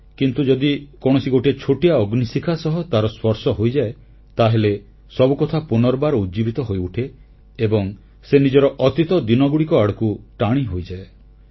କିନ୍ତୁ ଯଦି କୌଣସି ଗୋଟିଏ ଛୋଟିଆ ଅଗ୍ନିଶିଖା ସହ ତାର ସ୍ପର୍ଶ ହୋଇଯାଏ ତାହେଲେ ସବୁକଥା ପୁନର୍ବାର ଉଜ୍ଜୀବିତ ହୋଇଉଠେ ଏବଂ ସେ ନିଜର ଅତୀତ ଦିନଗୁଡ଼ିକ ଆଡ଼କୁ ଟାଣି ହୋଇଯାଏ